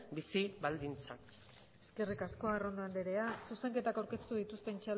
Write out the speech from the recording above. bizi baldintzak eskerrik asko arrondo andrea zuzenketak aurkeztu dituzten